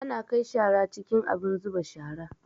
Ana kai shara cikin abin zuba shara